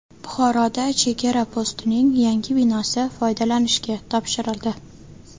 Buxoroda chegara postining yangi binosi foydalanishga topshirildi.